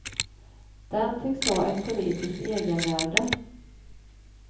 Den tycks ha ett politiskt egenvärde.